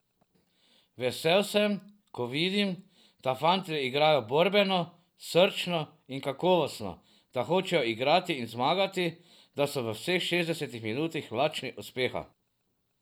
Vesel sem, ko vidim, da fantje igrajo borbeno, srčno in kakovostno, da hočejo igrati in zmagati, da so vseh šestdeset minut lačni uspeha.